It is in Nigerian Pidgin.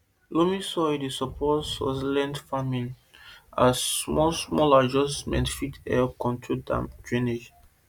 loamy soil mix dey support succulent farming as small small adjustment fit help control drainage